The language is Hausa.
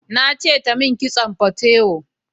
Na ce ta mun kitson fatewo